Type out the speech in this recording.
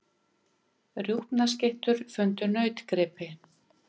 Þú ert hræddur í hverri hornspyrnu, aukaspyrnu.